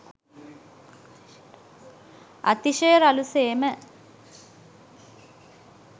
අතිශය රළු සේම